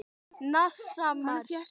NASA- Mars.